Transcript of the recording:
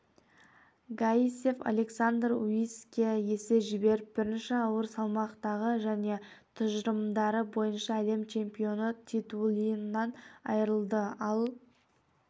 гаисев александр униске есе жіберіп бірінші ауыр салмақтағы және тұжырымдары бойынша әлем чемпионы титулынан айырылды ал